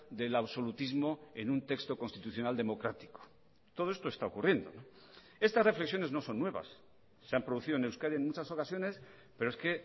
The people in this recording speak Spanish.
del absolutismo en un texto constitucional democrático todo esto está ocurriendo estas reflexiones no son nuevas se han producido en euskadi en muchas ocasiones pero es que